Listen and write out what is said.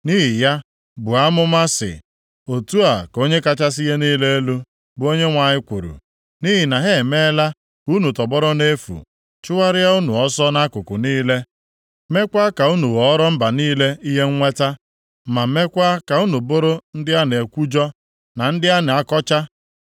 Nʼihi ya, buo amụma sị, ‘Otu a ka Onye kachasị ihe niile elu, bụ Onyenwe anyị kwuru: Nʼihi na ha emeela ka unu tọgbọrọ nʼefu, chụgharịa unu ọsọ nʼakụkụ niile, mekwaa ka unu ghọọrọ mba niile ihe nnweta, ma meekwa ka unu bụrụ ndị a na-ekwujọ, na ndị a na-akọcha,